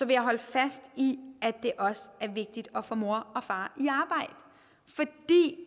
jeg holde fast i at det også er vigtigt at få mor og far